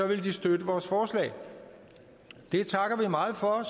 ville de støtte vores forslag det takker vi meget for